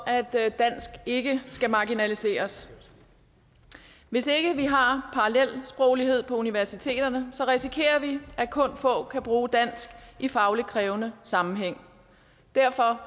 at dansk ikke skal marginaliseres hvis ikke vi har parallelsproglighed på universiteterne risikerer vi at kun få kan bruge dansk i fagligt krævende sammenhæng derfor